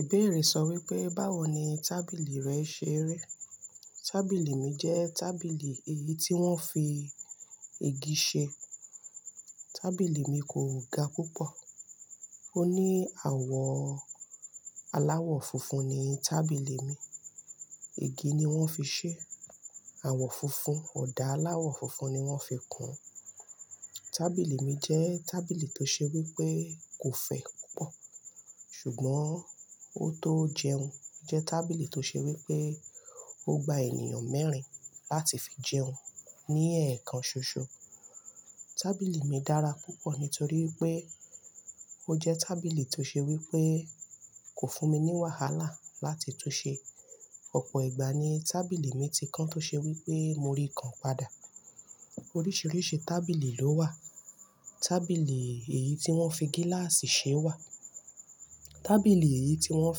Ibébè rẹ̀ sọ wípé báwo ni tábìlì rẹ ṣe rẹ́? Tábìlì mi jẹ́ tábìlì èyí tí wón fi ìgi ṣe. Tábìlì mi kò ga púpọ̀. Ó ní àwọ̀ aláwọ̀ funfun ni tábìlì mi. Igi ni wón fi ṣe é. Àwọ̀ funfun, ọ̀dà aláwọ̀ funfun ni wón fi kún ún. Tábìlì mi jẹ́ tábìlì tó ṣe wípé kò fẹ̀ púpọ̀. Ṣùgbọ́n ó tó jẹun. Jẹ́ tábìlì tó ṣe wípé ó gba ènìyàn mẹ́rin láti fi jẹun ní èèkàn ṣoṣo. Tábìlì mi dára púpọ̀ nítorí pé ó jẹ́ tábìlì tó ṣe wípé kò fún mi ní wàhálà láti túnsẹ. Ọ̀pọ̀ ìgbà ni tábìlì mi ti kan tó ṣe wípé mo rí kan padà. Oríṣìíríṣìí tábìlì ló wà. Tábìlì èyí tí wón fi gíláàsì ṣe wà. Tábìlì èyí tí wón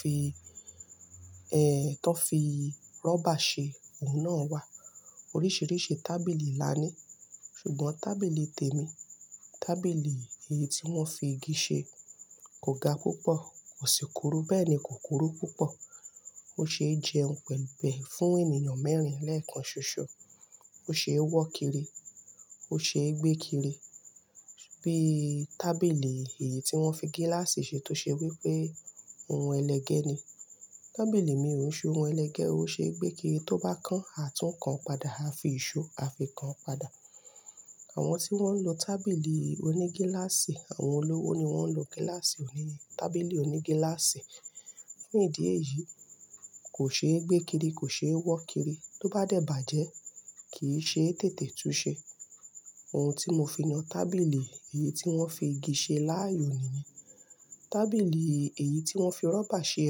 fi, ẹ́ tọ́ fi rọ́bà ṣe, òun náà wà. Oríṣìíríṣìí tábìlì la ní. Ṣùgbọ́n tábìlì tèmi, tábìlì èyí tí wón fi ìgi ṣe kò ga púpọ̀, kò sì kuru bẹ́ẹ̀ ni kò kuru púpọ̀. Ó ṣe é jẹun pẹ̀lú, pẹ̀ fún ènìyàn mẹ́rin lẹ́ẹ̀kan ṣoṣo. Ó ṣe é wọ́ kiri, ó ṣe é gbé kiri. Bíi tábìlì èyí tí wón fi gíláàsì ṣe tó ṣe wípé ohun ẹlẹgẹ́ ni. Tábìlì mi ò ṣe ohun ẹlẹgẹ́, ó ṣe gbé kiri tó bá kan, a tún kan padà, a fi ìṣó a fi kan padà. Àwọn tí wón ń lo tábìlì oní gíláàsì, àwọn olówó ni wón ń lo gíláàsì òní, tábìlì oní gíláàsì. Fún ìdí èyí, kò ṣe é gbé kiri, kò ṣe é wọ́ kiri. Tó bá dẹ̀ bàjẹ́, kì í ṣe téètè túnsẹ. Ohun tí mo fi yàn tábìlì èyí tí wón fi ìgi ṣe láàyò nìyẹn. Tábìlì èyí tí wón fi rọ́bà ṣe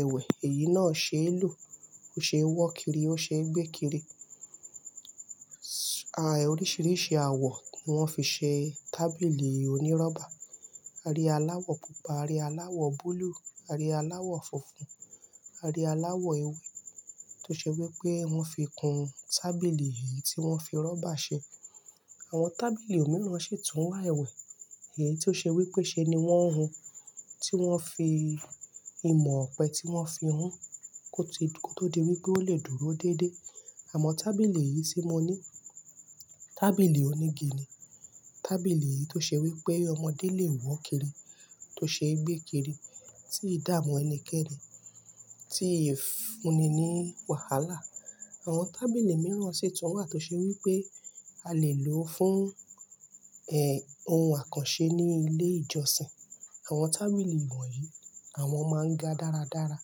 ẹwẹ̀, èyí náà ṣe é lù, ó ṣe é wọ́ kiri, ó ṣe é gbé kiri. Oríṣìíríṣìí àwọ̀ ni wọ́n fi ṣe tábìlì onírọ́bà. A rí aláwọ̀ pupa, a rí aláwọ̀ búlúù, a rí aláwọ̀ funfun, a rí aláwọ̀ ewé tó ṣe wípé wón fi kún tábìlì èyí tí wón fi rọ́bà ṣe. Àwọn tábìlì mìíràn sì tún wà ẹwẹ̀. Èyí tó ṣe wípé ṣe ni wón ń hun. Tí wón fi ìmọ̀ ọ̀pẹ tí wón fi hun kó ti, kó tó di wípé ó lè dúró déédé. Àmọ́ tábìlì yìí tí mo ní, tábìlì onígi ni. Tábìlì yìí tó ṣe wípé ọmọdé lè wọ̀ kiri, tó ṣe é gbé kiri, tí ì dà mu ẹnikẹ́ni, tí ì fúnni ní wàhálà. Àwọn tábìlì mìíràn sì tún wà tó ṣe wípé a lè lò ó fún, ẹ́ ohun àkànṣe ní ilé ìjọsìn. Àwọn tábìlì ìwọ̀n yìí, àwọn máa ń ga dáradára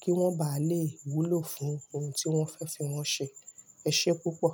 kí wọ́n bá lè wúlò fún ohun tí wọ́n fẹ́ fi wọ́n ṣe. Ẹ ṣé púpọ̀